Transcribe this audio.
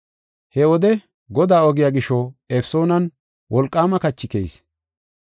He wode Godaa ogiya gisho Efesoonan wolqaama kachi keyis.